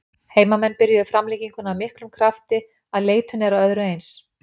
Heimamenn byrjuðu framlenginguna af þvílíkum krafti að leitun er að öðru eins.